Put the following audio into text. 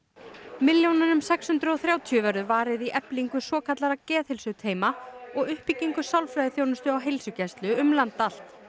milljónunum sex hundruð og þrjátíu verður varið í eflingu svokallaðra geðheilsuteyma og uppbyggingu sálfræðiþjónustu á heilsugæslum um land allt